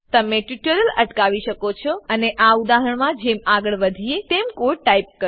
તમે ટ્યુટોરીયલ અટકાવી શકો છો અને આ ઉદાહરણમાં જેમ આગળ વધીએ તેમ કોડ ટાઈપ કરો